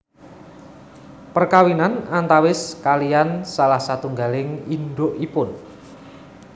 Perkawinan antawis kaliyan salah satunggaling indukipun